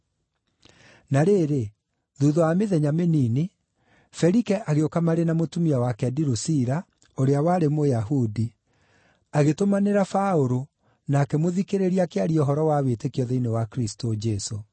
Na rĩrĩ, thuutha wa mĩthenya mĩnini, Felike agĩũka marĩ na mũtumia wake Dirusila, ũrĩa warĩ Mũyahudi mũtumia. Agĩtũmanĩra Paũlũ, na akĩmũthikĩrĩria akĩaria ũhoro wa wĩtĩkio thĩinĩ wa Kristũ Jesũ.